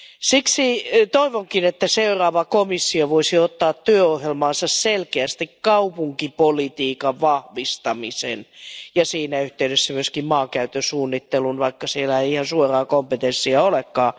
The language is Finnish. Siksi toivonkin, että seuraava komissio voisi ottaa työohjelmaansa selkeästi kaupunkipolitiikan vahvistamisen ja siinä yhteydessä myöskin maankäytön suunnittelun lisäämisen, vaikka siellä ei ihan suoraa kompetenssia olekaan.